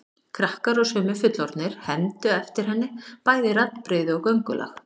Krakkar og sumir fullorðnir hermdu eftir henni, bæði raddbrigði og göngulag.